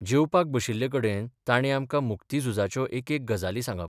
जेवपाक बशिल्लेकडेन तांणी आमकां मुक्तिनुजाच्यो एकेक गजाली सांगप.